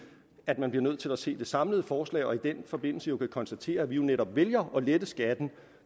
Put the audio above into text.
at man bliver nødt til at se det samlede forslag og i den forbindelse vil man kunne konstatere at vi netop vælger at lette skatten